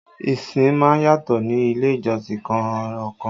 Ìsìn má ń yàtọ̀ ní ilé ìjọsìn kan ọkan